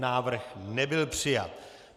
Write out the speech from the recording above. Návrh nebyl přijat.